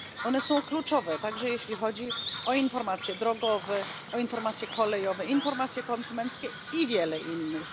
Są one kluczowe, także jeśli chodzi o informacje drogowe, o informacje kolejowe, informacje konsumenckie i wiele innych.